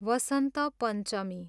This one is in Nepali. वसन्त पञ्चमी